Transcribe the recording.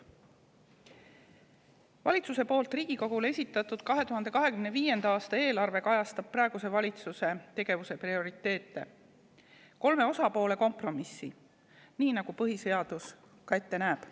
Valitsuse poolt Riigikogule esitatud 2025. aasta eelarve kajastab praeguse valitsuse tegevuse prioriteete, kolme osapoole kompromissi, nii nagu põhiseadus ka ette näeb.